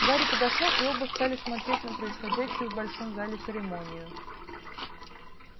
гарри подошёл и оба стали смотреть на происходящую в большом зале церемонию